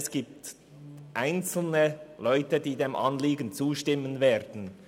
es gibt einzelne, die zustimmen werden.